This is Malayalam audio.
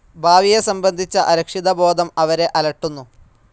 ഭാവിയെ സംബന്ധിച്ച അരക്ഷിതബോധം അവരെ അലട്ടുന്നു.